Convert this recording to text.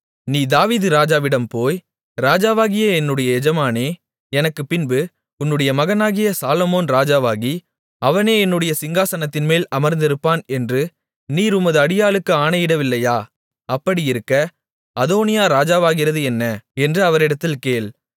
நீ தாவீது ராஜாவிடம் போய் ராஜாவாகிய என்னுடைய எஜமானனே எனக்குப்பின்பு உன்னுடைய மகனாகிய சாலொமோன் ராஜாவாகி அவனே என்னுடைய சிங்காசனத்தின்மேல் அமர்ந்திருப்பான் என்று நீர் உமது அடியாளுக்கு ஆணையிடவில்லையா அப்படியிருக்க அதோனியா ராஜாவாகிறது என்ன என்று அவரிடத்தில் கேள்